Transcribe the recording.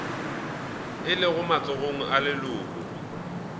o lego matsogong a leloko